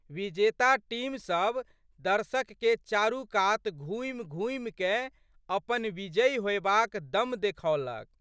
विजेता टीम सब दर्शकके चारूकात घुमिघुमिकए अपन विजयी होएबाक दम देखओलक।